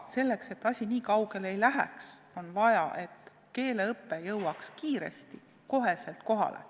Et asi nii kaugele ei läheks, on vaja, et keeleõpe jõuaks kiiresti, otsekohe kohale.